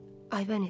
Aybəniz.